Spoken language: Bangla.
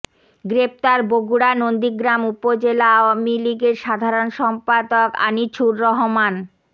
গ্রেপ্তার বগুড়া নন্দীগ্রাম উপজেলা আওয়ামী লীগের সাধারণ সম্পাদক আনিছুর রহমান